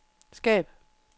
skab